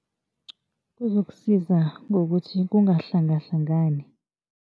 Izokusiza ngokuthi kungahlangahlangani.